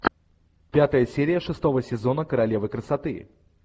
пятая серия шестого сезона королевы красоты